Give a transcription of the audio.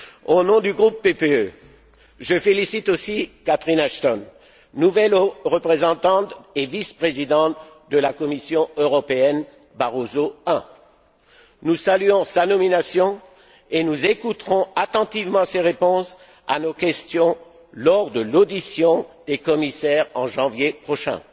Au nom du groupe PPE, je félicite aussi Catherine Ashton, nouvelle haute représentante et vice présidente de la Commission européenne Barroso I. Nous saluons sa nomination et nous écouterons attentivement ses réponses à nos questions lors de l'audition des commissaires en janvier prochain.